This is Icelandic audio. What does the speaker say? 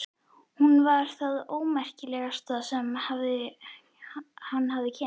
Hún var það ómerkilegasta sem hann hafði kynnst.